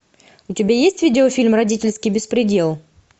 у тебя есть видеофильм родительский беспредел